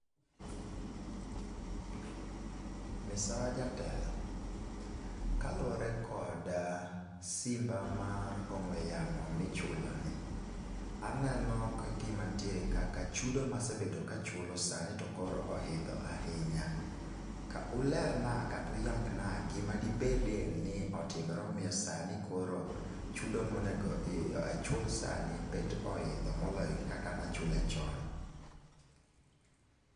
Misawa jatelo, kaluore kod simba mar ong'we yamo mi ichulo ni, aneno ka gi ma nitiere chudo ma asebedo ka achulo sani to koro oidho ahinya .Ka ulerna kata uyangna gi ma de bedi ni otimre ma omiyo sani koro chudo ma onego achul sani bet oidho ma oloyo kaka ne achule chon.